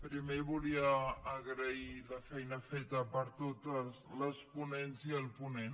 primer volia agrair la feina feta per totes les ponents i el ponent